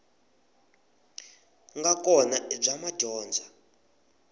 nga kona i bya madyondza